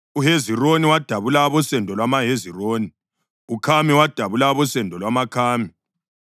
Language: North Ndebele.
uHezironi wadabula abosendo lwamaHezironi; uKhami wadabula abosendo lwamaKhami.